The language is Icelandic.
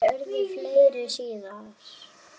Ávallt pláss fyrir alla.